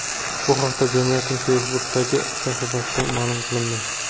Bu haqda jamiyatning Facebook’dagi sahifasida ma’lum qilindi .